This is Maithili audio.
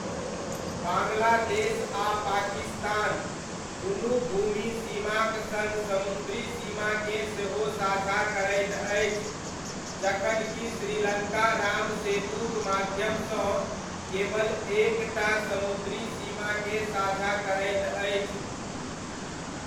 बाङ्ग्लादेश आ पाकिस्तान, दुनू ,भूमि सीमाक सङ्ग समुद्री सीमाकेँ सेहो साझा करैत अछि, जखन कि श्रीलङ्का राम सेतुक माध्यमसँ केवल एक टा समुद्री सीमाकेँ साझा करैत अछि।